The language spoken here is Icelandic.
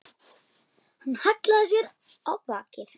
Hann hallaði sér á bakið.